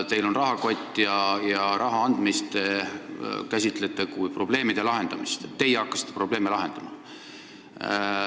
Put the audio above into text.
Teil on rahakott ja raha andmist te käsitate kui probleemide lahendamist: teie justkui olete hakanud probleeme lahendama.